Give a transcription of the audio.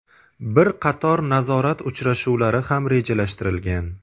Bir qator nazorat uchrashuvlari ham rejalashtirilgan.